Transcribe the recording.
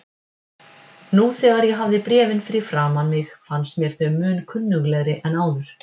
Nú þegar ég hafði bréfin fyrir framan mig fannst mér þau mun kunnuglegri en áður.